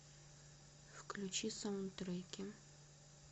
включи саундтреки